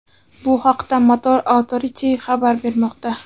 Bu haqda Motor Authority xabar bermoqda .